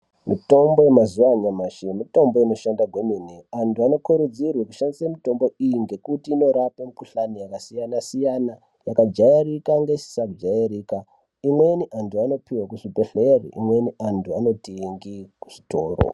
Mitombo yemazuwa anyamashi mitombo inoshanda kwemene antu anokurudzirwe kushandise mitombo iyi ngekuti inorape mukuhlani yakasiyana siyana yakajairika ngesisa jairika imweni antu anopuwe kuzvibhehlere imweni antu anotenge kuzvitoro.